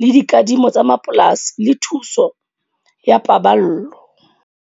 le dikadimo tsa mapolasi le thuso ya paballo.